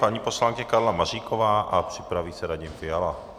Paní poslankyně Karla Maříková a připraví se Radim Fiala.